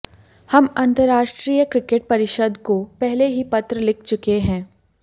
हम अंतरराष्ट्रीय क्रिकेट परिषद को पहले ही पत्र लिख चुके हैं